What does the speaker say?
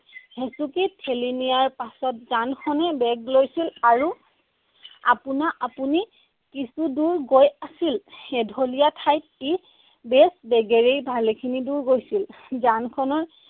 হেচুকি ঠেলি নিয়াৰ পাছত যানখনে বেগ লৈছিল আৰু আপুনা আপুনি কিছু দূৰ গৈ আছিল। এঢলীয়া ঠাইত ই বেছ বেগেৰেই ভালেখিনি দূৰ গৈছিল। যানখনৰ